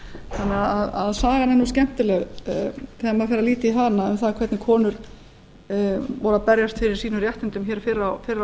þannig að sagan er nú skemmtileg þegar maður fer að líta í hana um það hvernig konur voru að berjast fyrir sínum réttindum hér fyrr á